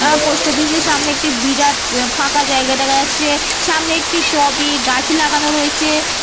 উহ post office -এর সামনে একটা বিরাট ফাঁকা জায়গা দেখা যাচ্ছে। সামনে একটি টব এ গাছ লাগানো রয়েছে।